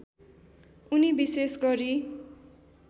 उनी विशेष गरी